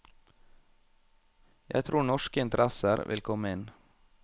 Jeg tror norske interesser vil komme inn.